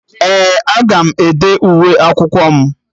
Ee, aga m ede uwe akwụkwọ m